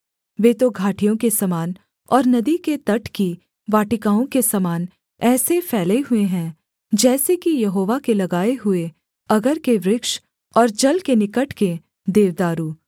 वे तो घाटियों के समान और नदी के तट की वाटिकाओं के समान ऐसे फैले हुए हैं जैसे कि यहोवा के लगाए हुए अगर के वृक्ष और जल के निकट के देवदारू